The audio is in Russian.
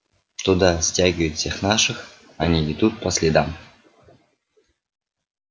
туда стягивают всех наших они идут по следам